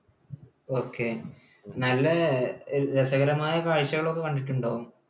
Okay. നല്ല രസകരമായ കാഴ്ചകൾ ഒക്കെ കണ്ടിട്ടുണ്ടാവും.